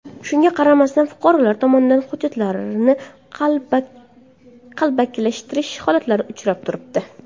Shunga qaramasdan fuqarolar tomonidan hujjatlarni qalbakilashtirish holatlari uchrab turibdi.